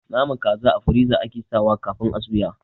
Naman kaza a firiza ake sawa kafin a suya